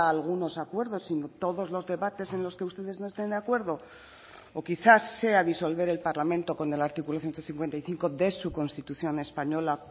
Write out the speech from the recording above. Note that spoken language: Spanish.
algunos acuerdos sino todos los debates en los que ustedes no estén de acuerdo o quizás sea disolver el parlamento con el artículo ciento cincuenta y cinco de su constitución española